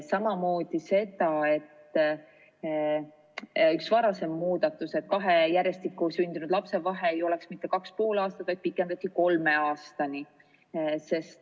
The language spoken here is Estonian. Samamoodi arutasime ühte varasemat muudatust, et kahe järjestikku sündinud lapse vahe ei ole mitte 2,5 aastat, vaid pikendasime seda kolme aastani.